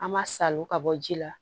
An ma salon ka bɔ ji la